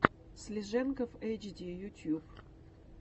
слиженков эйчди ютюб